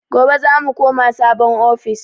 Gobe zamu koma sabon ofis